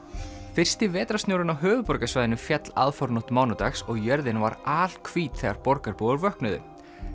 fyrsti vetrarsnjórinn á höfuðborgarsvæðinu féll aðfaranótt mánudags og jörðin var alhvít þegar borgarbúar vöknuðu